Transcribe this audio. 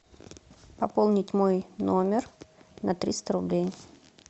пополнить мой номер на триста рублей